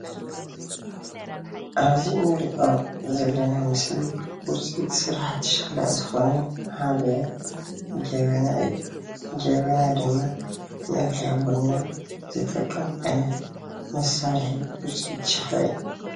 ኣብዚ እንሪኦ ዘለና ምስሊ ውፅኢት ስራሕቲ ሸክላ ዝኮነ ሓደ ጀበና እዩ፣ ጀበና ድማ መፍልሒ ቡና ዝጠቅም ዓይነት መሳርሒ ውፅኢት ሸክላ እዩ፡፡